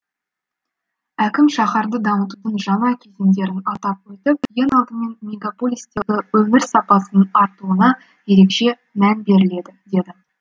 әкім шаһарды дамытудың жаңа кезеңдерін атап өтіп ең алдымен мегаполистегі өмір сапасының артуына ерекше мән беріледі деді